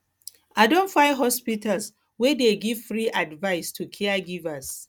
i don find hospitals wey dey give free advice to caregivers